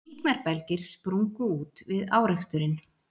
Líknarbelgir sprungu út við áreksturinn